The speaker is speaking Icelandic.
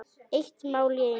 Eitt mál í einu.